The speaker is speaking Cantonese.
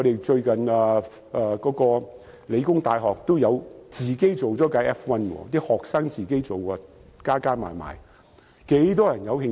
最近香港理工大學有學生自製了一輛 F1 車，其實很多人對這方面也有興趣。